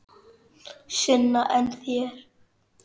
Sunna: En þér?